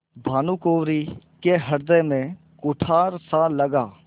भानुकुँवरि के हृदय में कुठारसा लगा